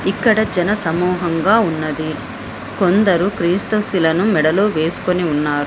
ఇక్కడ జన సమూహంగా ఉన్నది. కొందరు క్రీస్తుశిలను మెడలో వేసుకొని ఉన్నారు.